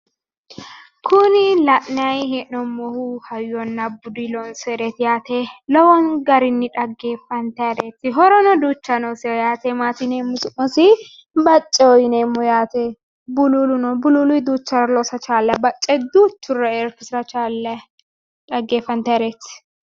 Kuni la'nayi hee'noommohu hayyonna budu loonsoniho bululoho loonsonniho dhaggefantannireti